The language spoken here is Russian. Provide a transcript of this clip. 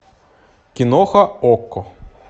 киноха окко